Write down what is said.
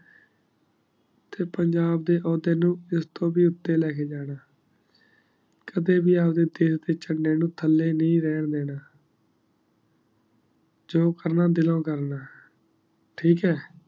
ਤੇ ਪੰਜਾਬ ਦੇ ਓਹਦੇ ਨੂ ਸਿਰ ਤੋ ਵੀ ਉਤੇ ਲੇ ਕੇ ਜਾਣਾ ਦੇ ਵੀ ਚਲੀ ਨੂ ਤਲੀ ਨਾਈ ਰਾਯ੍ਹਾਂ ਦੇਣਾ ਜੋ ਕਰਨਾ ਦਿਲੋਂ ਕਰਨਾ ਠੀਕ ਹੈ